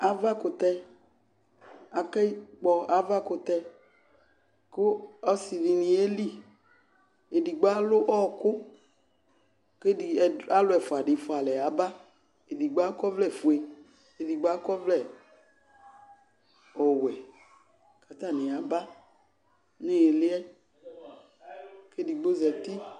Avakʋtɛ, aka kpɔ avakʋtɛ , kʋ ɔsɩdɩnɩ yeli: edigbo alʋ ɔɔkʋ , k'ɛdɩ alʋ ɛfʋadɩ fʋalɛ yaba Edihbo akɔvlɛfue , k'edigbo akɔvlɛ ɔwɛ k'atanɩ yaba n'ɩɩlɩ yɛ, k'edigbo zati